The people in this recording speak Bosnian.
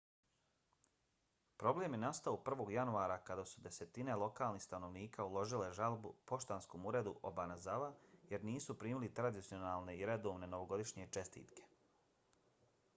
problem je nastao 1. januara kada su desetine lokalnih stanovnika uložile žalbu poštanskom uredu obanazawa jer nisu primili tradicionalne i redovne novogodišnje čestitke